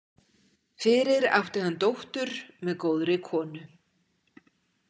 Fyrir átti hann dóttur með góðri konu.